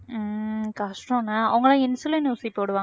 உம் கஷ்டம்ல அவங்க எல்லாம் insulin ஊசி போடுவாங்க